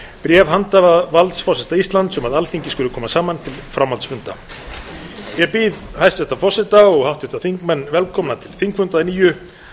bréf handhafavalds forseta íslands um að alþingi skuli koma saman til framhaldsfunda ég býð hæstvirtan forseta og háttvirta þingmenn velkomna til þingfunda að nýju